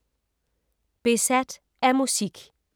Besat af musik